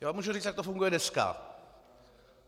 Já vám můžu říct, jak to funguje dneska.